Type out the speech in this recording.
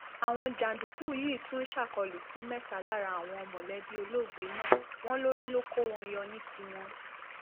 àwọn jàǹdùkú yìí tún ṣàkólú sí mẹta lára àwọn mọlẹbí olóògbé náà wọn lórí ló kó wọn yọ ní tiwọn